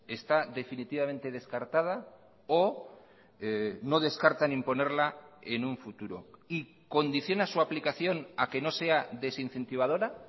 está definitivamente descartada o no descartan imponerla en un futuro y condiciona su aplicación a que no sea desincentivadora